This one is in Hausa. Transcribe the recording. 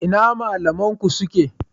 Ina malaman ku suke?